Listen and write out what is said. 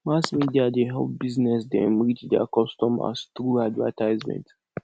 mass media dey help business dem reach their customers through advertisement